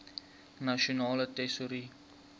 nasionale tesourie